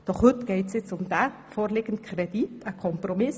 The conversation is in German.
Doch heute geht es um den vorliegenden Kredit für das Jahr 2018.